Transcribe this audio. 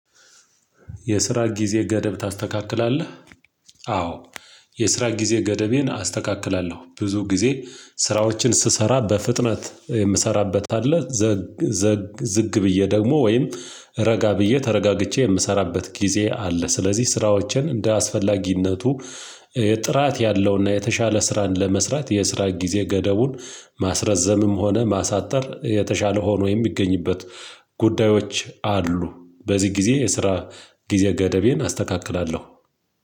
የስራ ጊዜ ገደብ ታስተካክላለህ አዎ የስራ ጊዜ ገደቤን አስተካክላለሁ፤ ብዙ ጊዜ ስራዎችን ስሰራ በፍጥነት የምሰራበት አለ፤ ዘግ ዘግ ዝግ ብዬ ደግሞ ወይም ረጋ ብዬ ተረጋግቼ የምሰራበት ጊዜ አለ። ስለዚህ ስራዎችን እንደ አስፈላጊነቱ ጥራት ያለውና የተሻለ ስራን ለመስራት የስራ ጊዜ ገደቡን ማስረዘምም ሆነ ማሳጠር የተሻለ ሆኖ የሚገኝበት ጉዳዮች አሉ በዚህ ጊዜ የስራ ጊዜ ገደቤን አስተካክላለሁ።